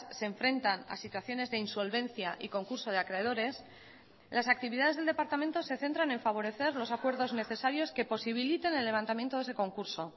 se enfrentan a situaciones de insolvencia y concurso de acreedores las actividades del departamento se centran en favorecer los acuerdos necesarios que posibiliten el levantamiento de ese concurso